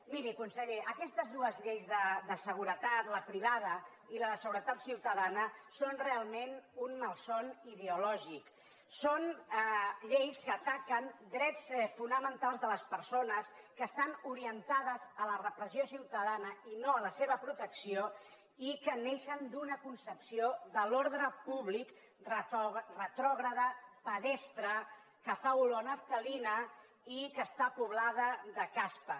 miri conseller aquestes dues lleis de seguretat la privada i la de seguretat ciutadana són realment un malson ideològic són lleis que ataquen drets fonamentals de les persones que estan orientades a la repressió ciutadana i no a la seva protecció i que neixen d’una concepció de l’ordre públic retrògrada pedestre que fa olor a naftalina i que està poblada de caspa